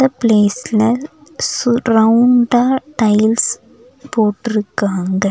இந்த ப்ளேஸ்ல சு ரவுண்டா டைல்ஸ் போட்டுருக்காங்க.